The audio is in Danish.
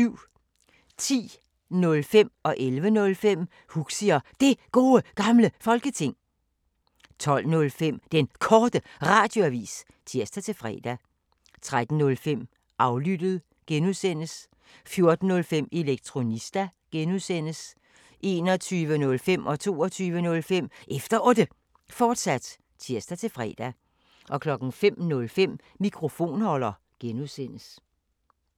10:05: Huxi og Det Gode Gamle Folketing 11:05: Huxi og Det Gode Gamle Folketing, fortsat 12:05: Den Korte Radioavis (tir-fre) 13:05: Aflyttet G) 14:05: Elektronista (G) 21:05: Efter Otte, fortsat (tir-fre) 22:05: Efter Otte, fortsat (tir-fre) 05:05: Mikrofonholder (G)